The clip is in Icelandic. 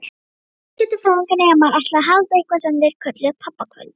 Viðskiptafræðinemar ætluðu að halda eitthvað sem þeir kölluðu pabbakvöld.